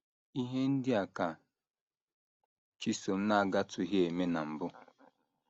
Ihe ndị a ka Chisom na - agatụghị eme na mbụ!